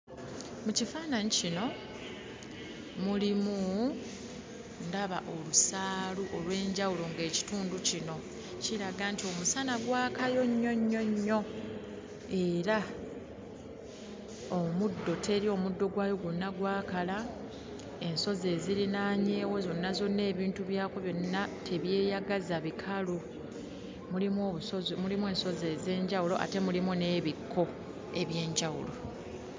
Mu kifaananyi kino mulimu ndaba olusaalu olw'enjawulo ng'ekitundu kino kiraga nti omusana gwakayo nnyo nnyo nnyo era omuddo teri, omuddo gwayo gwonna gwakala, ensozi ezirinaanyeewo zonna zonna ebintu byakwo byonna tebyeyagaza, bikalu. Mulimu ensozi ez'enjawulo ate mulimu n'ebikko eby'enjawulo.